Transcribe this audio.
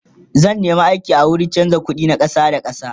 zan nema aiki a wurin chanza ƙuɗi na ƙasa da ƙasa